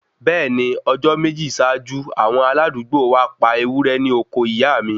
Bẹẹni, ni Ọjọ meji ṣaaju, awon aladuugbo wa pa ẹwúrẹ́ ní oko ìyàmi